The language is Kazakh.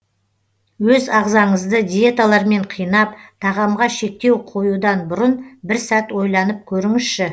өз ағзаңызды диеталармен қинап тағамға шектеу қоюдан бұрын бір сәт ойланып көріңізші